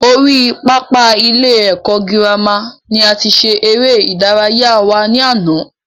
Orí pápá ilé ẹ̀kọ́ girama ni a ti ṣe eré ìdárayá wa ní àná